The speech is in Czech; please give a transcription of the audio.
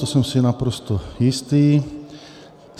To jsem si naprosto jistý.